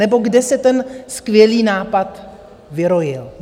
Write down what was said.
Nebo kde se ten skvělý nápad vyrojil?